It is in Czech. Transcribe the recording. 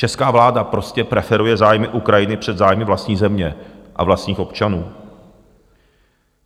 Česká vláda prostě preferuje zájmy Ukrajiny před zájmy vlastní země a vlastních občanů.